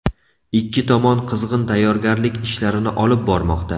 Ikki tomon qizg‘in tayyorgarlik ishlarini olib bormoqda.